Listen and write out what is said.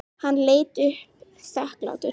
Hann leit upp þakklátur.